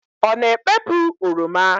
Ọ na-ekpepu oroma?